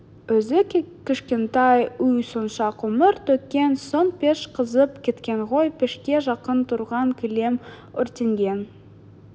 өзі кішкентай үй сонша көмір төккен соң пеш қызып кеткен ғой пешке жақын тұрған кілем өртенген